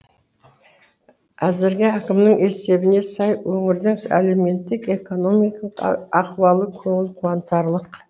әзірге әкімнің есебіне сай өңірдің әлеуметтік экономикалық ахуалы көңіл қуантарлық